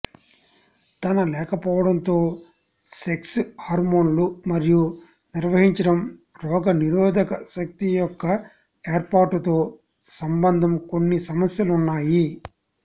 తన లేకపోవడం తో సెక్స్ హార్మోన్లు మరియు నిర్వహించడం రోగనిరోధక శక్తి యొక్క ఏర్పాటుతో సంబంధం కొన్ని సమస్యలు ఉన్నాయి